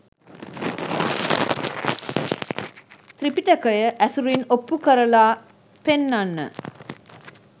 ත්‍රිපිටකය ඇසුරින් ඔප්පු කරලා පෙන්නන්න